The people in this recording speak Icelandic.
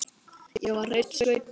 Ég var hreinn sveinn.